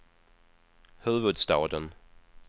huvudstaden